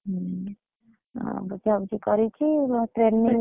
ହୁଁ, ଆଉ ବୁଝା ବୁଝି କରିଛି ।